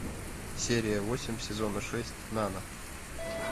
серия восемь сезона шесть нано